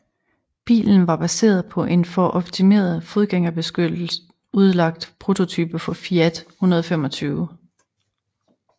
Bilen var baseret på en for optimeret fodgængerbeskytte udlagt prototype for Fiat 125